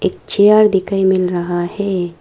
पीछे और दिखाई मिल रहा है।